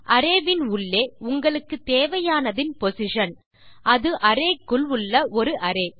array யின் உள்ளே உங்களுக்கு தேவையானதின் பொசிஷன் அது அரே குள் உள்ள ஒரு அரே